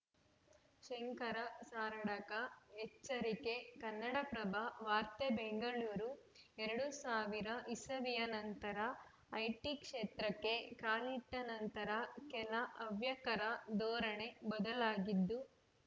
ಶಂಕರ ಸಾರಡ್ಕ ಎಚ್ಚರಿಕೆ ಕನ್ನಡಪ್ರಭ ವಾರ್ತೆ ಬೆಂಗಳೂರು ಎರಡು ಸಾವಿರ ಇಸವಿಯ ನಂತರ ಐಟಿ ಕ್ಷೇತ್ರಕ್ಕೆ ಕಾಲಿಟ್ಟನಂತರ ಕೆಲ ಹವ್ಯಕರ ಧೋರಣೆ ಬದಲಾಗಿದ್ದು